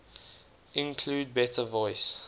include better voice